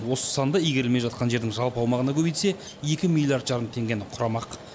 осы санды игерілмей жатқан жердің жалпы аумағына көбейтсе екі миллиард жарым теңгені құрамақ